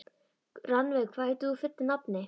Rannveig, hvað heitir þú fullu nafni?